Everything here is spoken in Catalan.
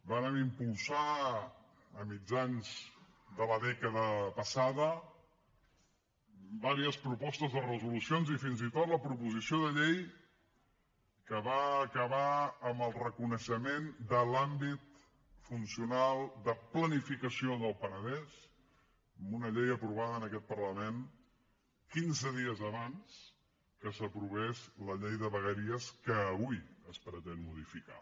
vàrem impulsar a mitjans de la dècada passada diverses propostes de resolució i fins i tot la proposició de llei que va acabar amb el reconeixement de l’àmbit funcional de planificació del penedès amb una llei aprovada en aquest parlament quinze dies abans que s’aprovés la llei de vegueries que avui es pretén modificar